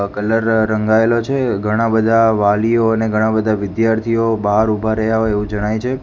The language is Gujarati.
આ કલર રંગાઇલો છે ઘણા બધા વાલિયો ને ઘણા બધા વિધાર્થીઓ બાર ઉભા રહ્યા હોય એવુ જણાઇ છે.